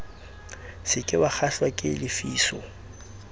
se ke wakgahlwa ke lefiso